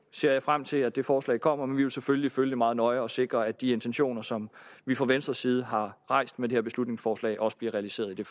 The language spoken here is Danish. ser jeg frem til at det forslag kommer men vi vil selvfølgelig følge det meget nøje og sikre at de intentioner som vi fra venstres side har rejst med det her beslutningsforslag også bliver realiseret i det